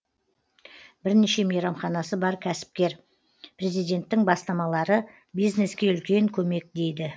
бірнеше мейрамханасы бар кәсіпкер президенттің бастамалары бизнеске үлкен көмек дейді